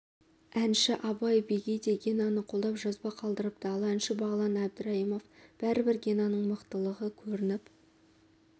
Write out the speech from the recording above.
әнші абай бегей де генаны қолдап жазба қалдырыпты ал әнші бағлан әбдірайымов бәрібір генаның мықтылығы көрініп